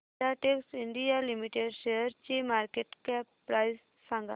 Filatex India limited शेअरची market cap price सांगा